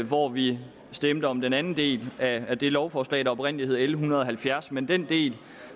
hvor vi stemte om den anden del af det lovforslag der oprindelig hed l en hundrede og halvfjerds men den del